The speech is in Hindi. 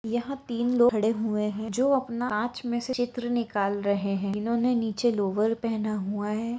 यहाँ तीन लोग खड़े हुए है जो अपना कांच में से चित्र निकल रहे है इन्होंने नीचे लोअर पहना हुआ है ।